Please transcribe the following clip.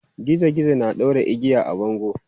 Gizo gizo na ɗaure igiya a bango.